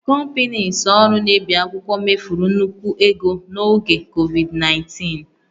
Companieslọ ọrụ na-ebi akwụkwọ mefuru nnukwu ego n'oge Covid19